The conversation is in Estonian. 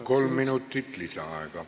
Kolm minutit lisaaega.